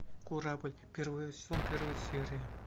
корабль первый сезон первая серия